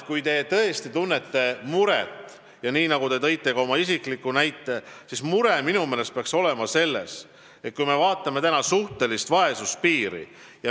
Kui te tõesti muret tunnete – te tõite siin ka isikliku näite –, siis minu meelest peaks muretsema suhtelise vaesuspiiri pärast.